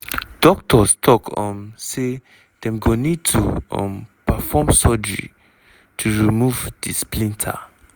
doctors tok um say dem go need to um perform surgery to remove di splinter.